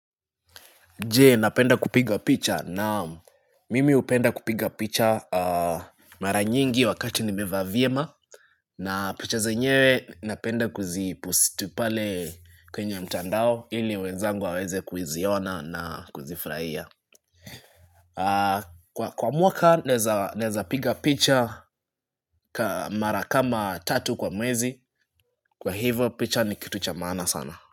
Je, napenda kupiga picha? Naam, mimi hupenda kupiga picha mara nyingi wakati nimevaa vyema na picha zenyewe napenda kuzipost pale kwenye mtandao ili wezangu waweze kuziona na kuzifurahia kwa mwaka naeza naeza piga picha mara kama tatu kwa mwezi, kwa hivo picha ni kitu cha maana sana.